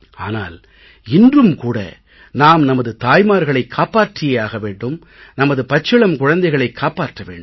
ஆனால் இன்றும் கூட நாம் நமது தாய்மார்களைக் காப்பாற்றியே ஆக வேண்டும் நமது பச்சிளம் குழந்தைகளைக் காப்பாற்ற வேண்டும்